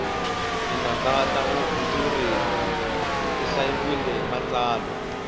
tinanga ta vuhandzuri ti hlayile matsalwa